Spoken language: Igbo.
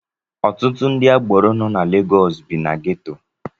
Ọtụtụ ndị agbero nọ na Legọọsụ bi na geto.